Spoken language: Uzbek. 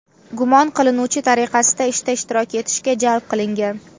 gumon qilinuvchi tariqasida ishda ishtirok etishga jalb qilingan.